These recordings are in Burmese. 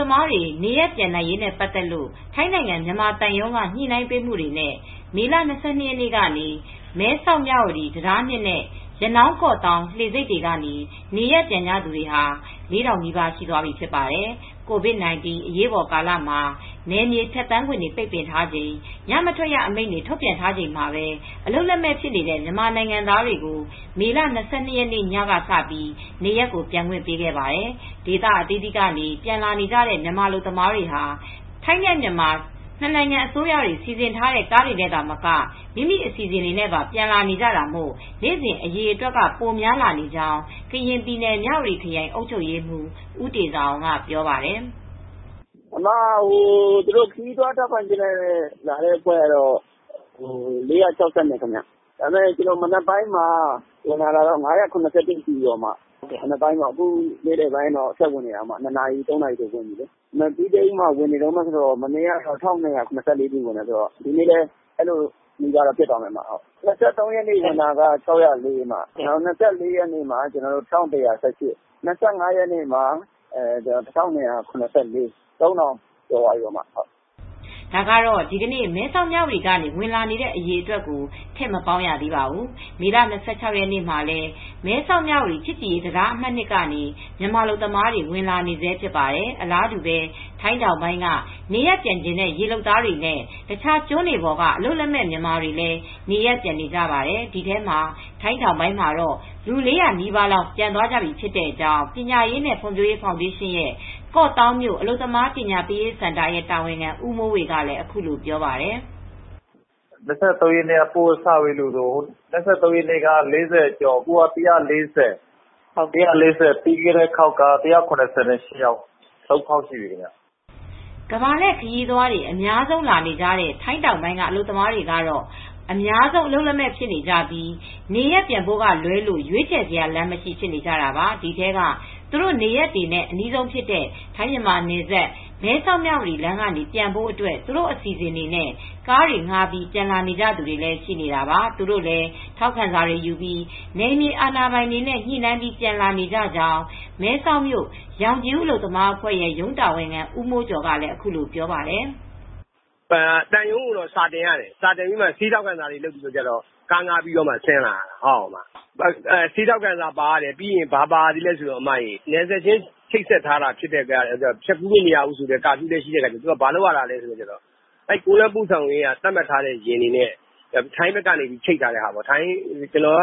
သမားတွေ နေရပ်ပြန်နိုင်ရေးနဲ့ ပတ်သက်လို့ ထိုင်းနိုင်ငံက မြန်မာသံရုံး ညှိနှိုင်းပေးမှုတွေနဲ့ မေလ ၂၂ ရက်နေ့ကနေ မဲဆောက် - မြဝတီတံတား ၂ နဲ့ ရနောင်း ကော့သောင်း လှေဆိပ်ကနေ နေရပ်ပြန်သူတွေဟာ ၄,၀၀၀ နီးပါး ရှိသွားပြီဖြစ်ပါတယ်။ ဒီအကြောင်း ဗွီအိုအေမြန်မာပိုင်းသတင်းထောက် မအေးအေးမာက သတင်းပေးပို့ထားပါတယ်။ COVID-19 အရေးပေါ်ကာလမှာ နယ်မြေဖြတ်သန်းခွင့်တွေ ပိတ်ပင်ထားချိန် ညမထွက်အမိန့်တွေ ထုတ်ပြန်ထားချိန်မှာပဲ အလုပ်လက်မဲ့ဖြစ်နေတဲ့ မြန်မာနိုင်ငံသားတွေကို မေလ ၂၂ ရက်ညက စပြီး နေရပ်ပြန်ခွင့်ပေးခဲ့ပါတယ်။ ဒေသအသီးသီးက ပြန်လာကြတဲ့ မြန်မာအလုပ်သမားတွေဟာ ထိုင်း - မြန်မာစီစဉ်ထားတဲ့ ကားတွေနဲ့သာမက မိမိအစီအစဉ်တွေနဲ့ပါ ပြန်လာကြတာမို့ နေ့စဉ် အရေအတွက်က ပိုများလာနေကြောင်း ကရင်ပြည်နယ်မြဝတီခရိုင် အုပ်ချုပ်ရေးမှူး ဦးတေဇာအောင်ကပြောပါတယ်။ "သူတို့ ခရီးသွားလက်မှတ်နဲ့ လာတဲ့အဖွဲ့က ၄၆၂ ပါ။ မနက်ပိုင်းက လာတာကတော့ အားလုံး ၅၇၁ ရှိပြီ။ မနက်ပိုင်းပေါ့ နေ့လယ်ပိုင်းတော့ ဆက်ဝင်နေတယ်။ မပြီးသေးဘူး။ ၂ နာရီ၊ ၃ နာရီ ထိ ဝင်နေတယ်။ မနေ့ကတော့ ၁,၂၇၄ ထိတော့ ဝင်တယ်။ ဒီနေ့လည်း အဲဒီလောက်ထိ ရှိသွားမယ်။ ၂၃ ရက်နေ့ ဝင်တာက ၆၀၄ ပါ။ ၂၄ ရက်နေ့မှာ ၁,၁၁၈ ပါ။ ၂၅ ရက်နေ့မှာ ၁,၂၇၄ ပါ။ ၃,၀၀၀ ကျော်သွားပြီ။" ဒါကတော့ ဒီနေ့ မဲဆောက် မြဝတီက ဝင်နေတဲ့ အရေအတွက်ကို ထည့်မပေါင်းရသေးပါဘူး။ မေလ ၂၆ ရက်နေ့မှာလည်း မဲဆောက် - မြဝတီချစ်ကြည်ရေးတံတားအမှတ် ၂ ကနေ မြန်မာအလုပ်သမားတွေ ဝင်နေဆဲဖြစ်ပါတယ်။ အလားတူပဲ ထိုင်းတောင်ပိုင်းက နေရပ်ပြန်ချင်တဲ့ ရေလုပ်သားတွေနဲ့ တခြားကျွန်းတွေပေါ်က အလုပ်လက်မဲ့မြန်မာတွေလည်း နေရပ်ပြန်နေကြပါတယ်။ ဒီထဲမှာ ထိုင်းတောင်ပိုင်းမှာတော့ လူ ၄၀၀ နီးပါးလောက်ဖြစ်သွာတဲ့အကြောင်း ပညာရေးနဲ့ ဖွံဖြိုးရေးဖောင်ဒေးရှင်းရဲ့ ကော့သောင်းမြို့ အလုပ်သမားပညာပေးရေးစင်တာ တာဝန်ခံဦးမိုးဝေကလည်း အခုလိုပြောပါတယ်။ "၂၃ ရက်နေ့ပို့တာ ၄၀ ကျော် အခုက ၁၄၀ ပြီးခဲ့တဲ့ ရက်က ၁၇၈ယောက်၊ ၃ ခေါက်ရှိသွားပါပြီ။" ကမ္ဘာလှည့်ခရီးသွားတွေ အများဆုံးလာတဲ့ ထိုင်းတောင်ပိုင်းက အလုပ်သမားတွေကတော့ အများဆုံး အလုပ်လက်မဲ့ဖြစ်နေကြပြီ။ နေရပ်ပြန်ဖို့ကလွဲလို့ ရွေးချယ်စရာ လမ်းမရှိဖြစ်နေကြတာပါ။ ဒီထဲက သူတို့ နေရပ်တွေနဲ့ အနီးဆုံးဖြစ်တဲ့ ထိုင်းမြန်မာနယ်စပ်၊ မဲဆောက်မြဝတီလမ်းကနေ ပြန်ဖို့အတွက် သူတို့အစီအစဉ်တွေနဲ့ ကားတွေငှားပြီး ပြန်လာကြသူတွေလည်း ရှိနေတာပါ။ သူတို့လည်း ထောက်ခံစာတွေယူပြီး နယ်မြေအာဏာပိုင်တွေနဲ့ ညှိနှိုင်းပြီး ပြန်လာနေကြကြောင်း မဲဆောက်မြို့ ရောင်ခြည်ဦးအလုပ်သမားအဖွဲ့ရဲ့ ရုံးတာဝန်ခံဦးမိုးကျော်ကလည်း အခုလိုပြောပြပါတယ်။ "သံရုံးကို စာတင်ပြီး ဆေးထောက်ခံစာတွေ ပါရတယ်။ ပြီးတော့ ကားငှားဆင်းလာကြတယ်။ ပြီးတော့ နယ်စပ်ချိတ်ဆက်ထားတာ့ နယ်မြေဖြတ်သန်းခွင့် မရှိဘူးဆိုတဲ့ ညမထွက်ရအမိန့်လည်း ရှိတယ်ဆိုတော့ သူတို့က ကုန်လမ်းပို့ဆောင်ရေးက ယာဉ်တွေနဲ့ ခရိုင်တခုက နေ တခုကို ထွက်ပြီး ချိတ်ဆက်ပြီးမှသာ ထွက်လာလို့ ရတယ်။ မှန်လုံ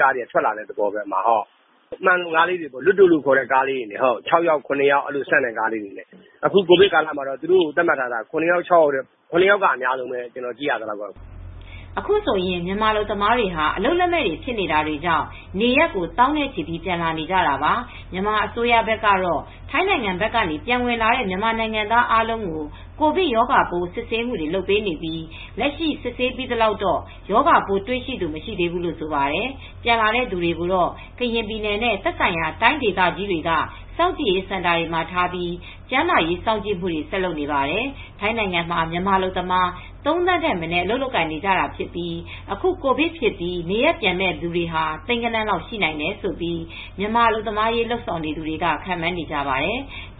ကားတွေနဲ့ လာတယ်။ တစီးကို ၆ ယောက်၊ ၇ ယောက်ပဲစီးရတယ်။ အခု ကိုဗစ်ကာလမှာ သတ်မှတ်ထားတာ ဆိုတော့ ၇ ယောက်ထက်တော့ မပိုဘူး စီးလာကြတာ။" အခုဆိုရင် မြန်မာအလုပ်သမားတွေဟာ အလုပ်လက်မဲ့တွေ ဖြစ်နေတာကြောင့် နေရပ်ကို သောင်းနဲ့ ချီပြီး ပြန်လာနေကြတာပါ။ မြန်မာအစိုးရဘက်ကတော့ ထိုင်းက ပြန်ဝင်လာတဲ့ မြန်မာနိုင်ငံသားအားလုံးကို ကိုဗစ်ရောဂါပိုးစစ်ဆေးပေးမှုတွေ လုပ်နေပြီး လက်ရှိစစ်ဆေးပြီးသလောက်တော့ ရောဂါပိုးတွေ့ရှိသူ မရှိသေးဘူးလို့ဆိုပါတယ်။ ပြန်လာသူတွေကိုတော့ ကရင်ပြည်နယ်နဲ့ သက်ဆိုင်ရာတိုင်းဒေသကြီးတွေက စောင်ကြည့်ရေးစင်တာတွေ ထားပြီး ကျန်းမာရေးစောင့်ကြည့်မှုတွေ ဆက်လုပ်နေပါတယ်။ ထိုင်းနိုင်ငံမှာ မြန်မာအလုပ်သမား ၃,၀၀၀,၀၀၀ ထက်မနည်း အလုပ်လုပ်နေကြပြီး အခု ကိုဗစ်ဖြစ်ပြီး နေရပ်ပြန်မဲ့သူတွေဟာ သိန်းဂဏန်းလောက်ရှိနိုင်တယ်လို့ မြန်မာအလုပ်သမားရေး လုပ်နေသူတွေက ခန့်မှန်းနေကြပါတယ်။